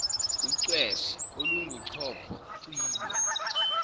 ucwephe olunguchopho cilo